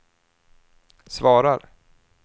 svarar